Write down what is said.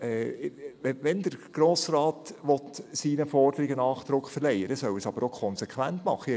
Wenn der Grosse Rat seinen Forderungen Nachdruck verleihen will, soll er es konsequent machen.